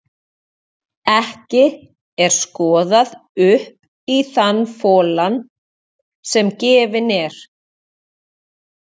Ekki er skoðað upp í þann folann sem gefinn er.